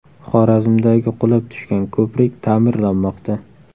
Xorazmdagi qulab tushgan ko‘prik taʼmirlanmoqda.